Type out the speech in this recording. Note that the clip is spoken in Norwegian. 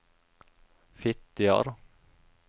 Fitjar